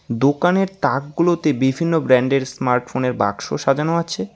দোকানের তাকগুলোতে বিভিন্ন ব্র্যান্ডের স্মার্টফোনের বাক্স সাজানো আছে।